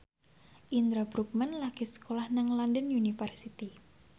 Indra Bruggman lagi sekolah nang London University